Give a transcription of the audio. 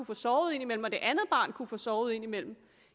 få sovet ind imellem og det andet barn kunne få sovet ind imellem